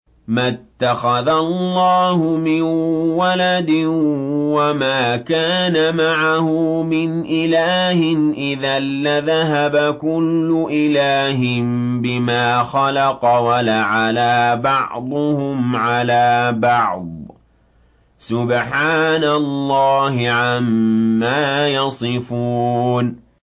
مَا اتَّخَذَ اللَّهُ مِن وَلَدٍ وَمَا كَانَ مَعَهُ مِنْ إِلَٰهٍ ۚ إِذًا لَّذَهَبَ كُلُّ إِلَٰهٍ بِمَا خَلَقَ وَلَعَلَا بَعْضُهُمْ عَلَىٰ بَعْضٍ ۚ سُبْحَانَ اللَّهِ عَمَّا يَصِفُونَ